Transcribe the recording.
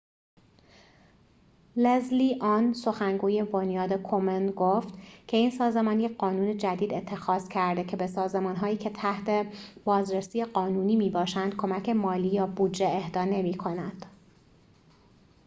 لزلی آن سخنگوی بنیاد کومن گفت که این سازمان یک قانون جدید اتخاذ کرده که به سازمان‌هایی که تحت بازرسی قانونی می‌باشند کمک مالی یا بودجه اهدا نمی‌کند